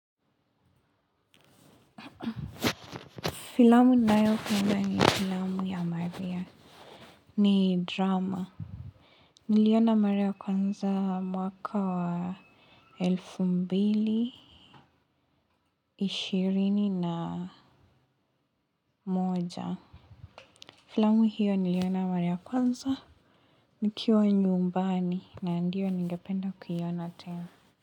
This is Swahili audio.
Filamu nayopenda ni filamu ya maria. Ni drama. Niliona maria kwanza mwaka wa elfu mbili. Ishirini na moja. Filamu hiyo niliona mara kwanza. Nikiwa nyumbani na ndiyo ningependa kuyiona tena.